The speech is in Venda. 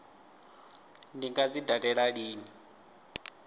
ndi nga dzi dalela lini